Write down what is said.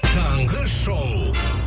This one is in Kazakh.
таңғы шоу